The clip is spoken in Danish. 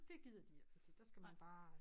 Dét gider de ikke fordi der skal man bare